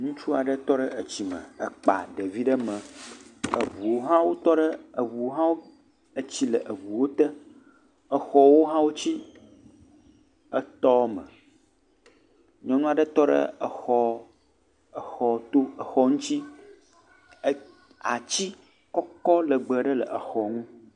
Ŋutsua ɖe tɔ ɖe etsi me ekpa ɖevi ɖe mee, etsi le eʋuwo te, exɔwo hã wo tsi etɔ me, nyɔnua ɖe tɔ ɖe exɔ ŋutsi, atsi kɔkɔ legbee ɖe le exɔ ŋu.